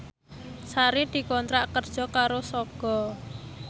Sari dikontrak kerja karo Sogo